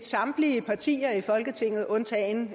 samtlige partier i folketinget undtagen